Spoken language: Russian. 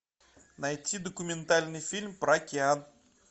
найти документальный фильм про океан